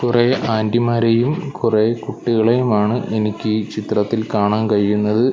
കുറെ ആൻ്റിമാരെയും കുറെ കുട്ടികളെയും ആണ് എനിക്കീ ചിത്രത്തിൽ കാണാൻ കഴിയുന്നത്.